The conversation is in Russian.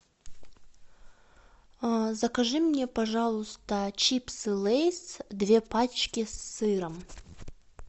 закажи мне пожалуйста чипсы лейс две пачки с сыром